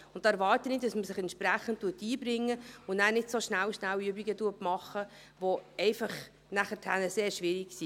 Da erwarte ich, dass man sich entsprechend einbringt und nachher nicht so Schnell-schnell-Übungen macht, welche einfach sehr schwierig sind.